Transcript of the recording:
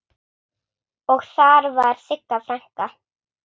Og þar var Sigga frænka.